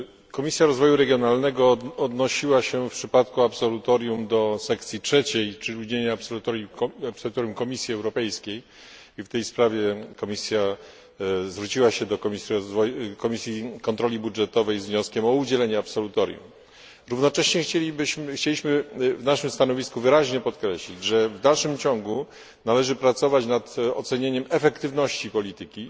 Komisja Rozwoju Regionalnego odnosiła się w przypadku absolutorium do sekcji 3, czyli do udzielenia absolutorium Komisji Europejskiej, i w tej sprawie Komisja zwróciła się do Komisji Kontroli Budżetowej z wnioskiem o udzielenie absolutorium. Równocześnie chcieliśmy w naszym stanowisku wyraźnie podkreślić, że w dalszym ciągu należy pracować nad ocenieniem efektywności polityki.